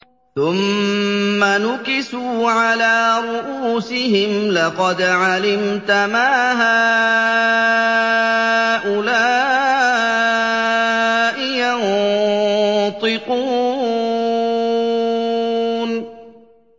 ثُمَّ نُكِسُوا عَلَىٰ رُءُوسِهِمْ لَقَدْ عَلِمْتَ مَا هَٰؤُلَاءِ يَنطِقُونَ